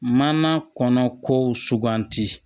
Mana kɔnɔ ko suganti